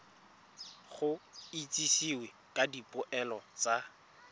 go itsisiwe ka dipoelo tsa